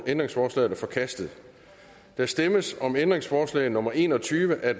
ændringsforslaget er forkastet der stemmes om ændringsforslag nummer en og tyve af